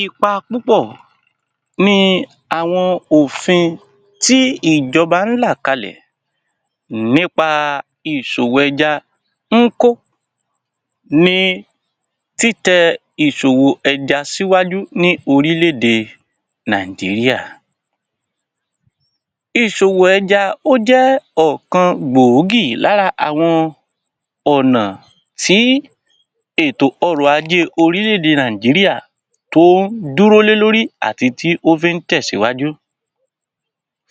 Ipa púpọ̀ ní àwọn òfin tí ìjọba ń là kalẹ̀ nípa ìṣòwò ẹja ń kó ní títẹ ìṣòwò ẹja síwájú ní orílẹ̀-èdè Nàìjíríà. Ìṣòwò ẹja, ó jẹ́ ọ̀kan gbòógì lára àwọn ọ̀nà tí ètò ọrọ̀ ajé orílẹ̀-èdè Nàìjíríà tó dúró lé lórí àti tí ó fí ń tẹ̀síwájú.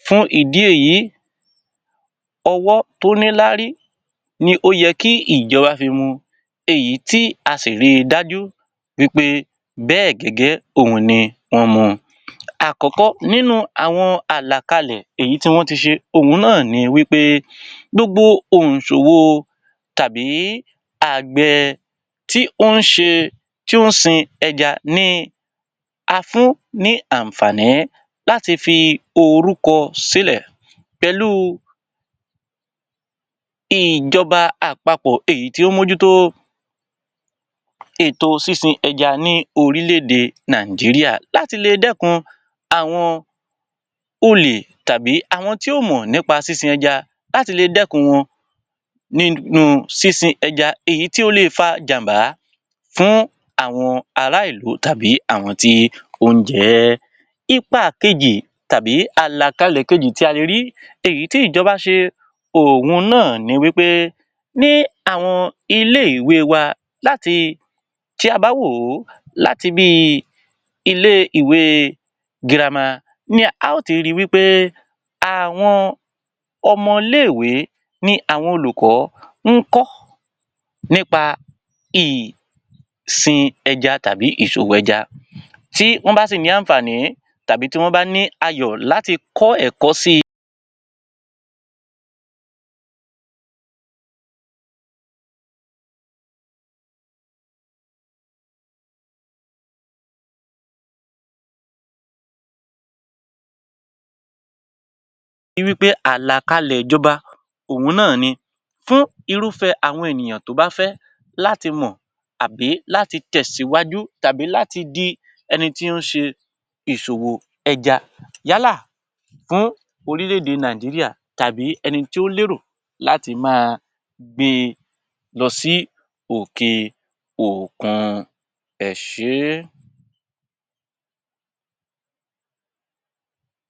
Fún ìdí èyí, ọwọ́ tó nílárí ni ó yẹ kí ìjọba fi mú un, èyí tí a sì rí i dájú wí pé bẹ́ẹ̀ gẹ́gẹ́ òhun ni wọ́n mu. Àkọ́kọ́ nínú àwọn àlàkalẹ́ èyí tí wọ́n ti ṣe òhun náà ni wí pé gbogbo òǹṣòwò tàbí àgbẹ̀ tí ó ń ṣe tí o ń sin ẹja ni a fún ní àǹfààní láti fi orúkọ sí lẹ̀ pẹ̀lú ìjọba àpapọ̀ èyí tí ó ń mójú tó ètò sísin ẹja ní orílẹ̀-èdè Nàìjíríà. Láti le dẹ́kun àwọn tàbí àwọn tí ó mọ nípa sísin ẹja, láti le dẹ́kun wọn nínú sísin ẹja èyí tí ó lè fa jàm̀bá fún àwọn ará ìlú tàbí àwọn tí ó ń jẹ ẹ́. Ipa kejì tàbí àlàkalẹ́ kejì tí a le rí èyí tí ìjọba ṣe òhun náà ni wí pé ní àwọn ilé-ìwé wa láti tí a bá wò ó láti bíi ilé-ìwé girama ni a ó ti ri wí pé àwọn ọmọ ilé-ìwé ni àwọn olùkọ́ ń kọ́ nípa ìsin ẹja tàbí ìṣòwò ẹja. Tí wọ́n bá sì ní àǹfààní tàbí tí wọ́n bá ní ayọ̀ láti kọ́ ẹ̀kọ́ si, ri wí pé àlàkalẹ́ ìjọba òhun náà ni. Fún irúfẹ́ àwọn ènìyàn tó bá fẹ́ láti mọ̀ àbí láti tẹ̀síwájú tàbí láti di ẹni tí ń ṣe ìṣòwò ẹja. Yálà fún orílẹ̀-èdè Nàìjíríà tàbí ẹni tí ó lérò láti máa gbé lọ sí òke-òkun. Ẹ ṣé.